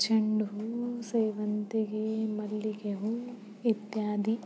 ಚೆಂಡ್ ಹೂ ಸೇವಂತಿಗೇ ಮಲ್ಲಿಗೆ ಹೂ ಇತ್ಯಾದಿ.